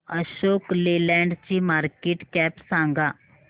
Ashok Leyland ची market cap सांगा